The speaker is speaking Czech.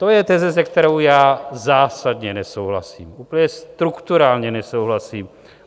To je teze, se kterou já zásadně nesouhlasím, úplně strukturálně nesouhlasím.